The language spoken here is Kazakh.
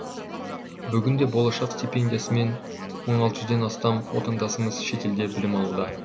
бүгінде болашақ стипендиясымен мың алты жүзден астам отандасымыз шетелде білім алуда